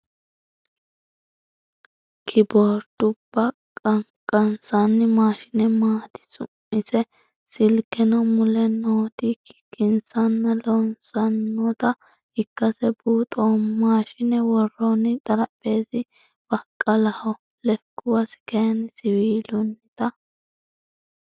Keboordubba qaqansqnni maashine maati su'mise . Silkeno mule nooti kikkinsanna loossannota ikkase buuxoommo. Maashine worroonni xarapheezzi baqqalaho lekkuwasi kayinni siwiilunnita.